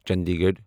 Chandigarh